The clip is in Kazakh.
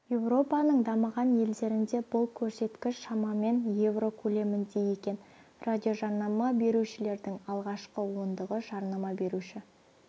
еуропаның дамыған елдерінде бұл көрсеткіш шамамен евро көлемінде екен радиожарнама берушілердің алғашқы ондығы жарнама беруші